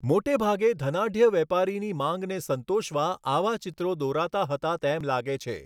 મોટેભાગે ધનાઢ્ય વેપારીની માંગને સંતોષવા આવા ચિત્રો દોરાતા હતા તેમ લાગે છે.